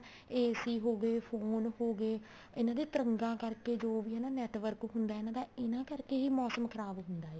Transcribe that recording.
AC ਹੋਗੇ phone ਹੋਗੇ ਇਹਨਾ ਦੀਆਂ ਤਰੰਗਾ ਕਰਕੇ ਜੋ ਵੀ ਹਨਾ network ਹੁੰਦਾ ਇਹਨਾ ਦਾ ਇਹਨਾ ਕਰਕੇ ਹੀ ਮੋਸਮ ਖਰਾਬ ਹੁੰਦਾ ਏ